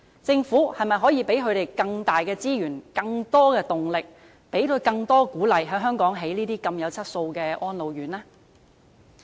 政府可否為他們提供更多資源、動力和鼓勵，在香港興建有質素的安老院呢？